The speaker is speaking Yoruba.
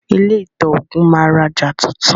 Ilé ìtaògùn máa rajà tuntun.